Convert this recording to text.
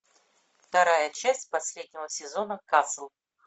вторая часть последнего сезона касл